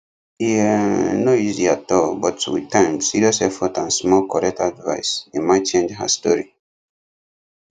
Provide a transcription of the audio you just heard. e um no easy at all but with time serious effort and small correct advice emma change her story